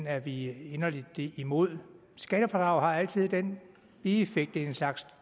er vi inderligt imod et skattefradrag har altid den bieffekt at det er en slags